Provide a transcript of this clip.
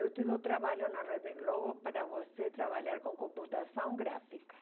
Eu te dou trabalho na Rede Globo para você trabalhar com computação gráfica.